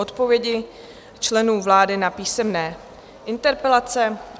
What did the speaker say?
Odpovědi členů vlády na písemné interpelace